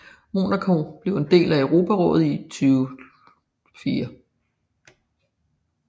Monaco blev en del af Europarådet i 2004